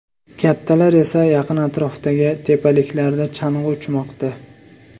Kattalar esa yaqin atrofdagi tepaliklarda chang‘i uchmoqda.